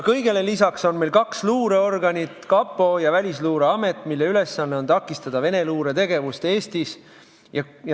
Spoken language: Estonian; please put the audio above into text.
Kõigele lisaks on meil kaks luureorganit: kapo ja Välisluureamet, mille ülesanne on takistada Vene luure tegevust Eestis.